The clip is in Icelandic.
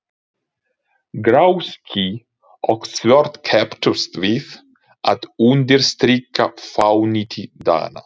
Grá ský og svört kepptust við að undirstrika fánýti daganna.